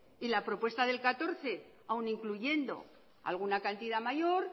y la propuesta del dos mil catorce aún incluyendo alguna cantidad mayor